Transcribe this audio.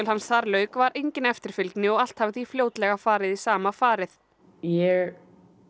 hans þar lauk var engin eftirfylgni og allt hafi því fljótlega farið í sama farið ég